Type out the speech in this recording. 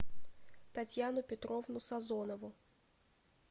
татьяну петровну созонову